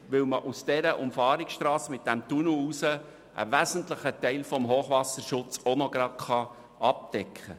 Denn mit der Umfahrungsstrasse und dem Tunnel kann man auch einen wesentlichen Teil des Hochwasserschutzes abdecken.